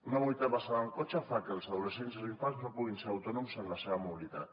una mobilitat basada en el cotxe fa que els adolescents i els infants no puguin ser autònoms en la seva mobilitat